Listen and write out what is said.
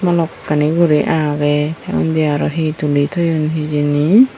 balokkani guri agey undi arow he tuli toyun hijeni.